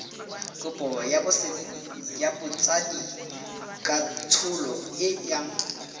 kopo ya botsadikatsholo e yang